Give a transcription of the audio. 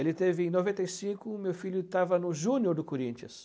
Ele teve, em noventa e cinco, o meu filho estava no Júnior do Corinthians.